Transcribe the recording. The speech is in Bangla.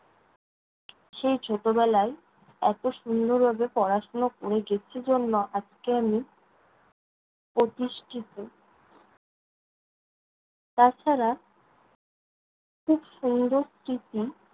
সেই ছোটবেলায় এত সুন্দরভাবে পড়াশোনা কোরে গেছি জন্য, আজকে আমি প্রতিষ্ঠিত। তা ছাড়া খুব সুন্দর স্মৃতি